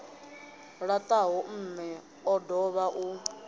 ṱalaho mme o dovha u